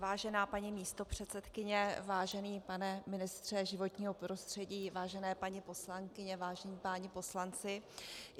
Vážená paní místopředsedkyně, vážený pane ministře životního prostředí, vážené paní poslankyně, vážení páni poslanci.